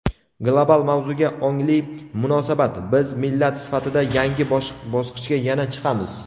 Global mavzuga ongli munosabat: Biz millat sifatida yangi bosqichga qachon chiqamiz?.